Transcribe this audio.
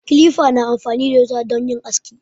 Kilifa na amfani da wuta don yin aski.